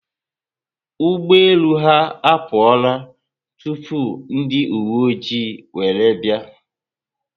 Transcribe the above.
Ụgbọelu ha apuola tupu ndi uwe oji were bia